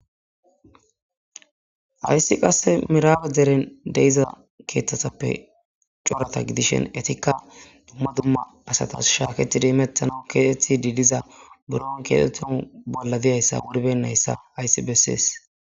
ayssi qasse miraawe deren deiza keeththatappe coreta gidishen etikka dumma dumma asatas shaaketidi imettana keetethti diidiza buron keetettan bolla diyayssa wuribennayssa hayssi bessees